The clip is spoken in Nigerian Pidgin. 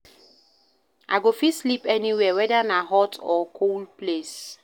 I go fit sleep anywhere weda na hot or cool place.